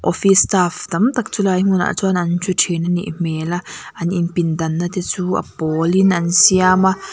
office staff tam tak chulai hmunah chuan an thu thin anih hmel a an inpindanna te chu a pawlin an siam a.